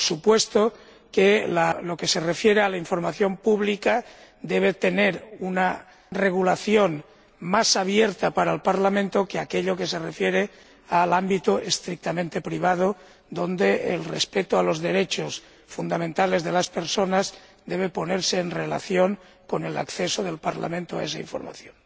Por supuesto que lo que se refiere a la información pública debe tener una regulación más abierta para el Parlamento que aquello que se refiere al ámbito estrictamente privado, donde el respeto a los derechos fundamentales de las personas debe ponerse en relación con el acceso del Parlamento a esa información.